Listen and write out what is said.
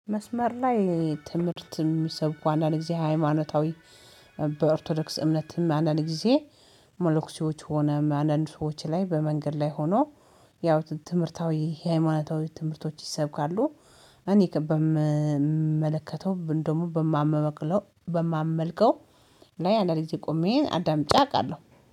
መስመር ላይ ትምህርት የሚሰብኩ አንዳንድ ጊዜ ሃይማኖታዊ በኦርቶዶክስ እምነትም አንዳንድ ጊዜ መለኮሲዎች ሆነ አንዳንድ ሰዎች ላይ በመንገድ ላይ ሆኖ ያው ትምህርታዊ ሃይማኖታዊ ትምህርቶች ይሰብካሉ እኔ በምመለከተው ደግሞ በማመቅለው በማመልከው ላይ አንዳንድ ጊዜ ቆሜን አዳምጪ አውቃለሁ።